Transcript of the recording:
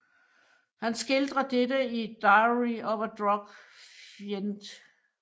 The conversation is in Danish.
Han skildrer dette i Diary of a Drug Fiend